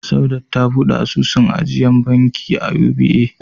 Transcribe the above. Saudat ta buɗe asusun ajiya a bankin UBA.